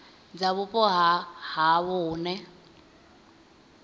dza vhupo ha havho hune